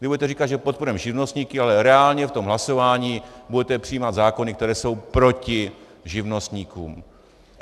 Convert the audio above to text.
Vy budete říkat, že podporujete živnostníky, ale reálně v tom hlasování budete přijímat zákony, které jsou proti živnostníkům.